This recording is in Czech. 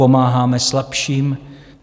Pomáháme slabším.